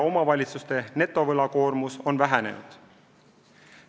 Omavalitsuste netovõlakoormus on vähenenud.